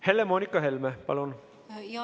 Helle-Moonika Helme, palun!